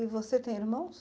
E você tem irmãos?